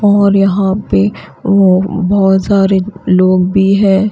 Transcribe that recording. और यहां पे वो बहोत सारे लोग भी है।